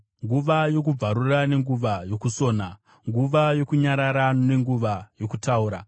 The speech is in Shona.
nguva yokubvarura nenguva yokusona, nguva yokunyarara nenguva yokutaura;